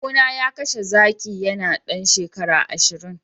kawuna ya kashe zaki yana dan shekara ashirin